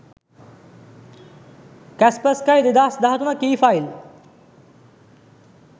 kaspersky 2013 key file